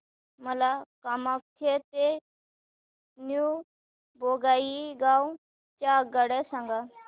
मला कामाख्या ते न्यू बोंगाईगाव च्या आगगाड्या सांगा